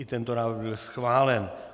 I tento návrh byl schválen.